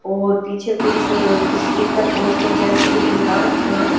और पीछे कुछ स्टीकर पोस्टर जैसे भी दिखा रखे हैं।